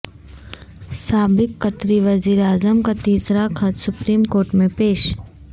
سابق قطری وزیراعظم کا تیسرا خط سپریم کورٹ میں پیش